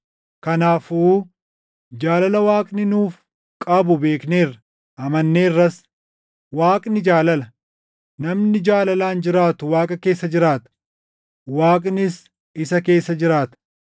Kanaafuu jaalala Waaqni nuuf qabu beekneerra; amanneerras. Waaqni jaalala. Namni jaalalaan jiraatu Waaqa keessa jiraata; Waaqnis isa keessa jiraata.